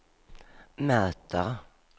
möter